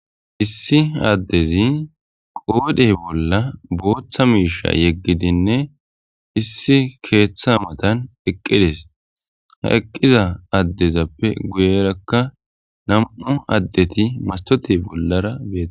issi addezi qoodhey bolla booththa miisha yeggidinne issi keeththa matan eqqides ha eqqiza addezappe guyerakka nam'u addeti masitote bollara dees